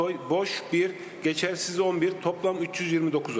Boş 1, etibarsız 11, cəmi 329 səs.